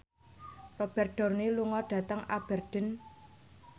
Robert Downey lunga dhateng Aberdeen